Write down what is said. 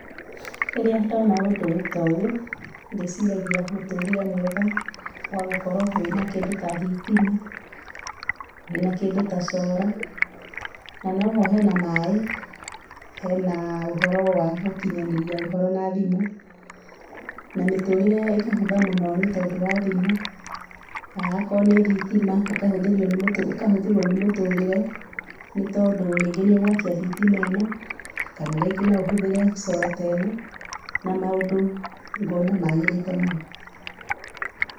Rĩrĩa ndona ũndũ ta ũyũ nĩ ciragia mũtũrĩre mwega wa gũkorwo wĩna kĩndũ ta thitima, wĩna kĩndũ ta solar na noho hena maĩ, hena ũhoro wa gũkinyanĩria ũhoro na thimũ na mĩtũrĩre ĩkĩhũtha mũno nĩ tondũ wa thimũ, haya akorwo nĩ thitima ũkahũthĩrwo nĩ mũtũrĩre nĩ tondũ rĩngĩ nĩ ũgwakia thitima ĩno kana rĩngĩ no ũhũthĩre solar teno na maũndũ ngona magĩrĩte mũno.